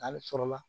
Ale sɔrɔla